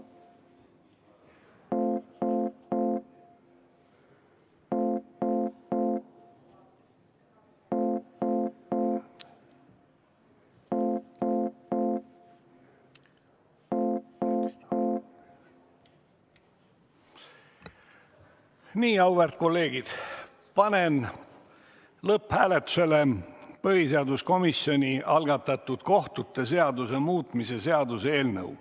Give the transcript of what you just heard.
Nii, auväärt kolleegid, panen lõpphääletusele põhiseaduskomisjoni algatatud kohtute seaduse muutmise seaduse eelnõu.